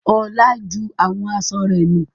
Olá ju àwọn aṣọ rẹ̀ nù.